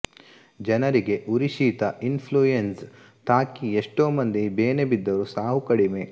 ಜನರಿಗೆ ಉರಿಶೀತ influenza ತಾಕಿ ಎಷ್ಟೊ ಮಂದಿ ಬೇನೆ ಬಿದ್ದರೂ ಸಾವು ಕಡಿಮೆ